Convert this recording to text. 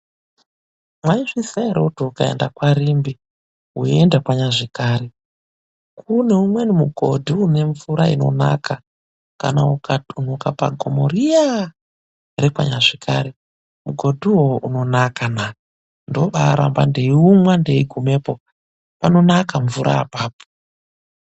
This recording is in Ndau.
Mwaizviziya ere kuti ukaenda kwaRimbi weienda kwaNyazvikari kune umweni mugodhi une mvura inonaka? Kana ukatumbuka pagomo riyaa repaNyazvikari, mugodhi uwowo unonaka na! Ndoobaaramba ndeiumwa ndeigumepo, panonaka mvura apapo.